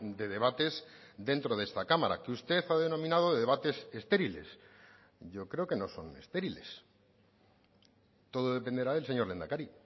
de debates dentro de esta cámara que usted ha denominado de debates estériles yo creo que no son estériles todo dependerá del señor lehendakari